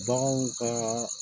Baganw ka